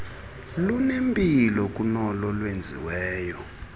lunempilo kunolo lwenziweyo